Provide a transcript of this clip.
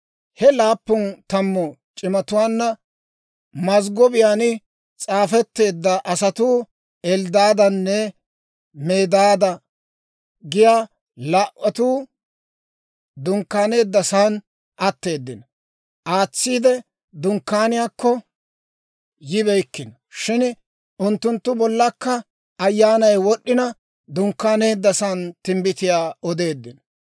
He laappun tammu c'imatuwaanna mazggobiyaan s'aafetteedda asatuu Elddaadanne Medaada giyaa laa"atuu dunkkaaneeddasan atteeddino; Dunkkaaniyaakko yibeykkino; shin unttunttu bollakka Ayyaanay wod'd'ina, dunkkaaneeddasan timbbitiyaa odeeddino.